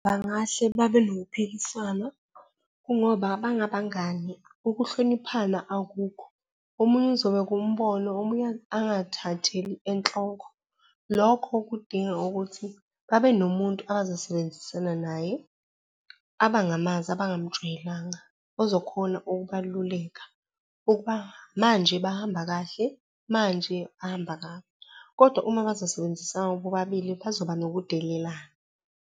Bangahle babe nokuphikisana kungoba bangabangani ukuhloniphana, akukho. Omunye uzobeka umbono, omunye angathatheli enhloko. Lokho kudinga ukuthi babe nomuntu abazosebenzisana naye, abangamazi, abangamjwayelanga, ozokhona ukubaluleka ukuba manje bahamba kahle, manje bahamba kabi. Kodwa uma bezosebenzisana bobabili bazoba nokudelelana.